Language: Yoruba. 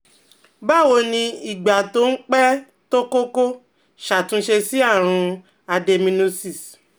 Báwo ni ìgbà tó ń pẹ́ tó kọ́kọ́ ṣàtúnṣe sí àrùn adenomyosis?